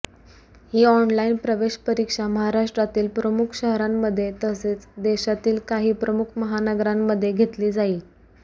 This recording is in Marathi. ही ऑनलाईन प्रवेश परीक्षा महाराष्ट्रातील प्रमुख शहरांमध्ये तसेच देशातील काही प्रमुख महानगरांमध्ये घेतली जाईल